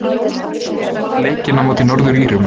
Ég skoðaði leikinn á móti Norður-Írum.